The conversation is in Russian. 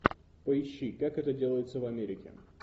поищи как это делается в америке